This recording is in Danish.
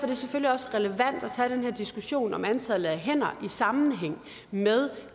det selvfølgelig også relevant at tage den her diskussion om antallet af hænder i sammenhæng med